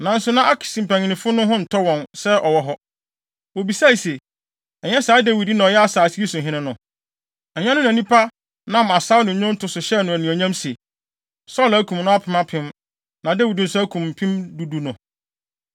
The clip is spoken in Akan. Nanso na Akis mpanyimfo no ho ntɔ wɔn sɛ ɔwɔ hɔ. Wobisae se, “Ɛnyɛ saa Dawid yi na ɔyɛ asase yi so hene no? Ɛnyɛ ɔno na nnipa nam asaw ne nnwonto so hyɛɛ no anuonyam se, ‘Saulo akum ne apem apem na Dawid nso akum mpem du du no?’ ”